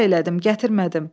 Həya elədim, gətirmədim.